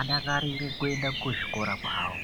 adakarire kuenda kuzvikora zvawo.